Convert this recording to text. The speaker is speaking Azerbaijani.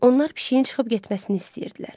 Onlar pişiyin çıxıb getməsini istəyirdilər.